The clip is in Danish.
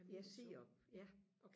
ja sirup ja